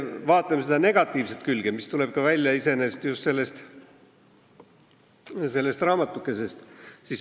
Vaatame seda negatiivset külge, mis tuleb välja just sellest raamatukesest.